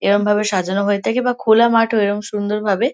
এরম ভাবে সাজানো হয়ে থাকে বা খোলা মাঠও এরম সুন্দরভাবে--